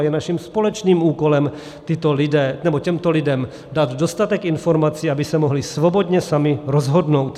A je naším společným úkolem těmto lidem dát dostatek informací, aby se mohli svobodně sami rozhodnout.